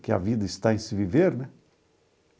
Que a vida está em se viver, né?